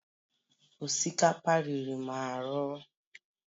osikapa riri m ahụ